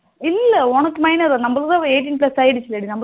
இல்ல உனக்கு minor நமல்தா eighteen Plas ஆகிடுசுல டி